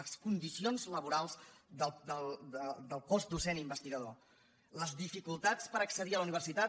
les condicions laborals del cos docent investigador les dificultats per accedir a la universitat